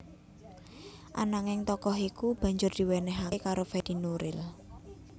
Ananging tokoh iku banjur diwenéhaké karo Fedi Nuril